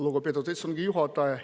Lugupeetud istungi juhataja!